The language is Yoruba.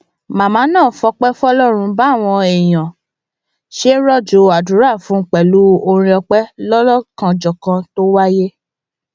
màmá náà fọpẹ fọlọrun báwọn èèyàn ṣe ń rọjò àdúrà fún un pẹlú orin ọpẹ ọlọkanòjọkan tó wáyé